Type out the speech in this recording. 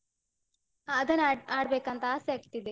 ಹ ಅದನ್ನ ಆಡ್~ ಆಡ್ಬೇಕಂತ ಆಸೆ ಆಗ್ತಿದೆ.